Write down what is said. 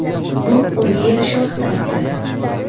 Bu o‘ziga yarasha vaqt talab qiladi.